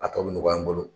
A tɔ bɛ nɔgɔya n bolo